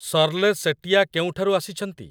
Shirley Setia କେଉଁଠାରୁ ଆସିଛନ୍ତି?